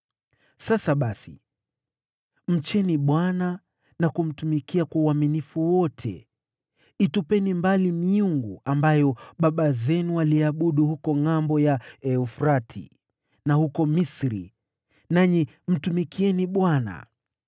“Sasa basi mcheni Bwana na kumtumikia kwa uaminifu wote. Itupeni mbali miungu ambayo baba zenu waliiabudu huko ngʼambo ya Mto Frati na huko Misri, nanyi mtumikieni Bwana .